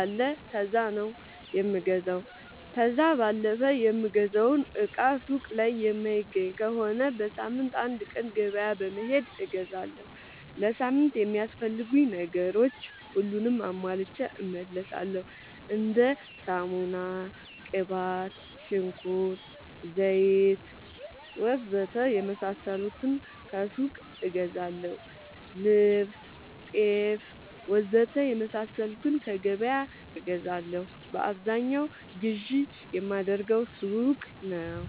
አለ ከዛ ነው የምገዛው። ከዛ ባለፈ የምፈልገውን እቃ ሱቅ ላይ የማይገኝ ከሆነ በሳምንት አንድ ቀን ገበያ በመሄድ እገዛለሁ። ለሳምንት የሚያስፈልጉኝ ነገሮች ሁሉንም አሟልቼ እመለሣለሁ። እንደ ሳሙና፣ ቅባት፣ ሽንኩርት፣ ዘይት,,,,,,,,, ወዘተ የመሣሠሉትን ከሱቅ እገዛለሁ። ልብስ፣ ጤፍ,,,,,,,,, ወዘተ የመሣሠሉትን ከገበያ እገዛለሁ። በአብዛኛው ግዢ የማደርገው ሱቅ ነው።